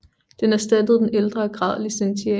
Den erstattede den ældre grad licentiat